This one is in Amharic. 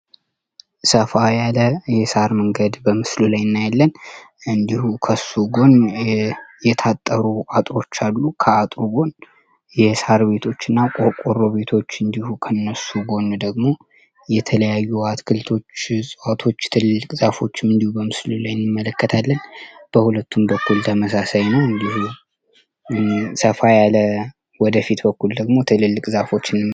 ሰፋ ያለ የሳር መንገድ በምስሉ ላይ እንዲጠሩ የታጠሩ አሉ ከአቶችና ቤቶች እንዲሁ ከነሱ ጎን ደግሞ የተለያዩ አትክልቶች እንዲሁም በሁለቱም በኩል ተመሳሳይ ነው ወደፊት ደግሞ ትልልቅ ዛፎችን....